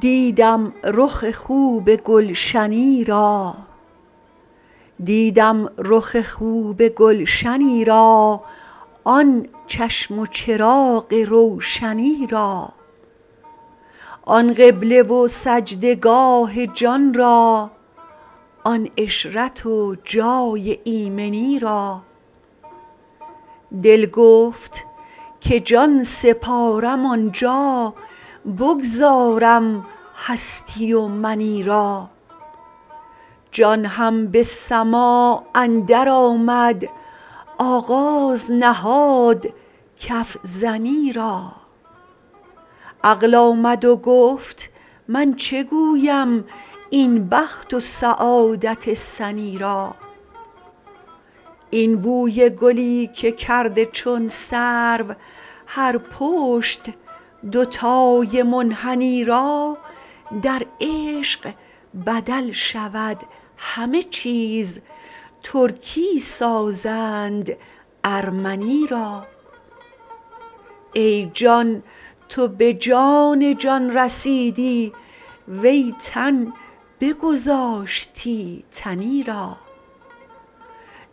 دیدم رخ خوب گلشنی را آن چشم و چراغ روشنی را آن قبله و سجده گاه جان را آن عشرت و جای ایمنی را دل گفت که جان سپارم آن جا بگذارم هستی و منی را جان هم به سماع اندرآمد آغاز نهاد کف زنی را عقل آمد و گفت من چه گویم این بخت و سعادت سنی را این بوی گلی که کرد چون سرو هر پشت دوتای منحنی را در عشق بدل شود همه چیز ترکی سازند ارمنی را ای جان تو به جان جان رسیدی وی تن بگذاشتی تنی را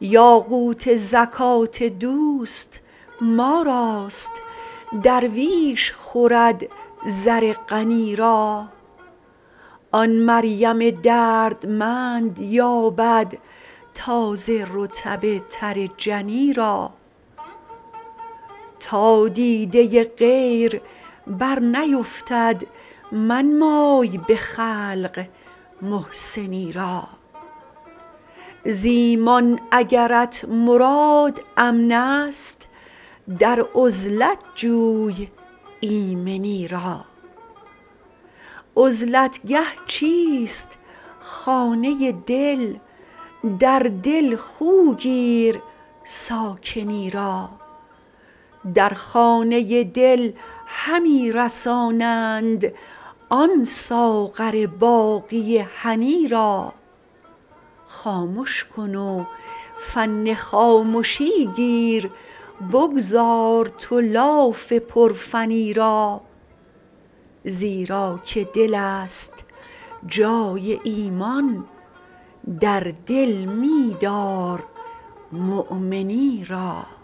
یاقوت زکات دوست ما راست درویش خورد زر غنی را آن مریم دردمند یابد تازه رطب تر جنی را تا دیده غیر برنیفتد منمای به خلق محسنی را ز ایمان اگرت مراد امنست در عزلت جوی ایمنی را عزلت گه چیست خانه دل در دل خو گیر ساکنی را در خانه دل همی رسانند آن ساغر باقی هنی را خامش کن و فن خامشی گیر بگذار تو لاف پرفنی را زیرا که دلست جای ایمان در دل می دارمؤمنی را